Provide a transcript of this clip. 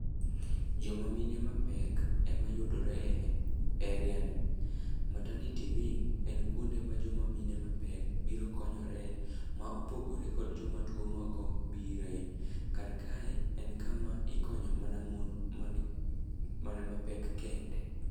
Jomamine mapek emayudore e eriani. Maternity wing en kuonde ma jomamine mapek biro konyore ma opogore kod jomatuo moko bire. Karkae en kama ikonye mana mon mana mapek kende.